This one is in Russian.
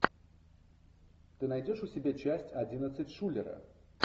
ты найдешь у себя часть одиннадцать шулера